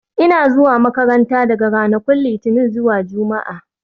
Ina zuwa makaranta daga ranakun Litinin zuwa Juma'a